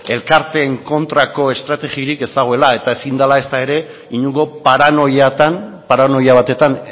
elkarteen kontrako estrategiarik ez dagoela eta ezin dela ezta ere inongo paranoiatan paranoia batetan